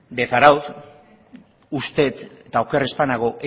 de zarautz uste dut eta oker ez banago